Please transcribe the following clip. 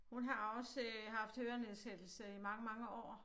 Hun har også øh haft hørenedsættelse i mange mange år